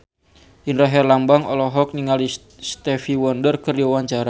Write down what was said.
Indra Herlambang olohok ningali Stevie Wonder keur diwawancara